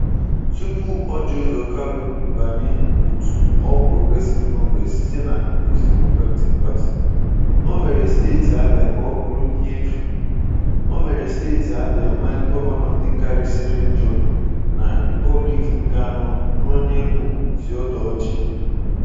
Tupu Orji Uzor Kalu banye otu All Progressive Congress site na Peoples Democratic Party, ọ mere Steeti Abịa ka ọ bụrụ ihe efu. Ọ mere Steeti Abịa nwee gọvanọ dịkarịsịrị njọ na Republik nke anọ n'onye bụ Theodore Orji.